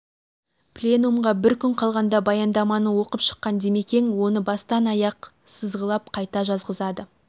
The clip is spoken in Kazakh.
пленумға бір күн қалғанда баяндаманы оқып шыққан димекең оны бастан аяқ сызғылап қайта жазғызады